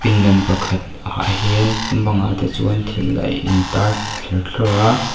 pindan pakhat ah hian bangah te chuan thil a intar thlerthlawr a.